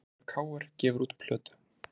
Leikmaður KR gefur út plötu